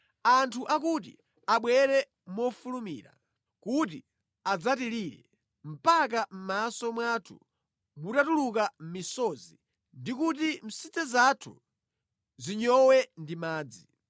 Anthu akuti, “Abwere mofulumira kuti adzatilire mpaka mʼmaso mwathu mutatuluka misozi ndi kuti msidze zathu zinyowe ndi madzi.